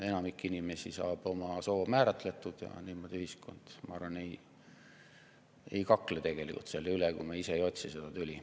Enamik inimesi saab oma soo määratletud ja ma arvan, et ühiskond tegelikult ei kakle selle pärast, kui me ise ei otsi seda tüli.